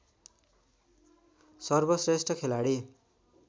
सर्वश्रेष्ठ खेलाडी